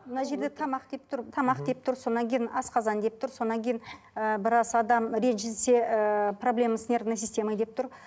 мына жерде тамақ деп тұр тамақ деп тұр содан кейін асқазан деп тұр содан кейін ыыы біраз адам ренжісе ыыы проблема с нервной системой деп тұр